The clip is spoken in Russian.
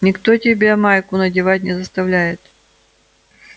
никто тебя майку надевать не заставляет